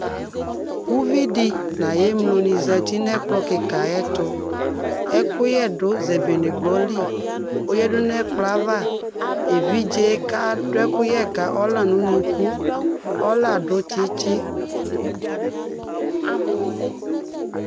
Uvi dɩ nʋ ayʋ emlonɩ zǝti nʋ ɛkplɔ kɩka ayʋ ɛtʋ Ɛkʋyɛ du zebenegbɔ li ; oyadu nʋ ɛkplɔ yɛ ava Evidze kadʋ ɛkuyɛ ka ɔla nʋ unuku Ɔla adu tsɩtsɩ